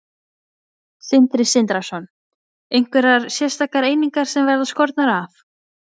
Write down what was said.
Sindri Sindrason: Einhverjar sérstakar einingar sem verða skornar af?